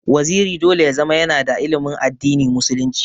Waziri dole ya zama yana da ilimin addini musulunci.